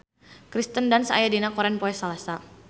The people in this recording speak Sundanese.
Kirsten Dunst aya dina koran poe Salasa